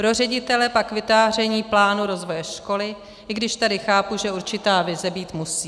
Pro ředitele pak vytváření plánu rozvoje školy, i když tady chápu, že určitá vize být musí.